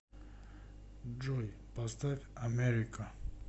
джой поставь америка